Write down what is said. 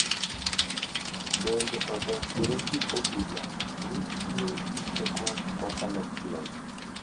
Bende, odonjre gi obila ni tiyo gi teko mokalo kiewo